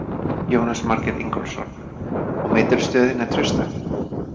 Jónas Margeir Ingólfsson: Og meturðu stöðu þína trausta?